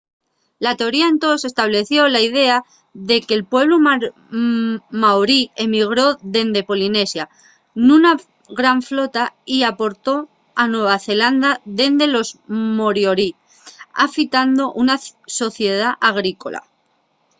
la teoría entós estableció la idea de que’l pueblu maorí emigró dende polinesia nuna gran flota y aportó a nueva zelanda dende los moriori afitando una sociedá agrícola